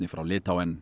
frá